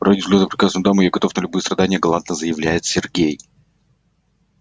ради взгляда прекрасной дамы я готов на любые страдания галантно заявляет сергей